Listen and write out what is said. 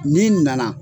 Ni nana